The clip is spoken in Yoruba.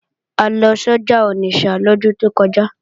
A lọ sọ́jà Onitsha lọ́dún tó kọjá